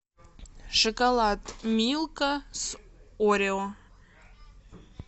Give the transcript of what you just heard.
шоколад милка с орео